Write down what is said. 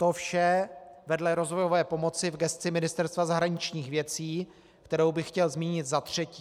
To vše vedle rozvojové pomoci v gesci Ministerstva zahraničních věcí, kterou bych chtěl zmínit za třetí.